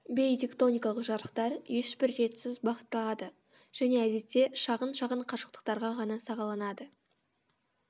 бейтектоникалық жарықтар ешбір ретсіз бағытталады және әдетте шағын шағын қашықтықтарға ғана сағаланады